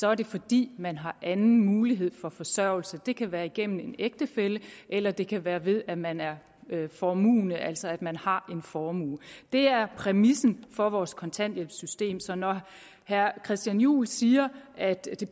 er det fordi man har anden mulighed for forsørgelse det kan være gennem en ægtefælle eller det kan være ved at man er formuende altså at man har en formue det er præmissen for vores kontanthjælpssystem så når herre christian juhl siger at det